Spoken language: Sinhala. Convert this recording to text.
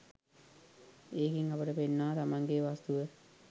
ඒකෙන් අපට පේනවා තමන්ගේ වස්තුව